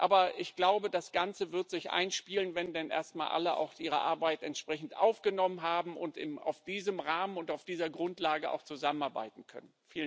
Aber ich glaube, das Ganze wird sich einspielen, wenn denn erstmal alle auch ihre Arbeit entsprechend aufgenommen haben und in diesem Rahmen und auf dieser Grundlage zusammenarbeiten können.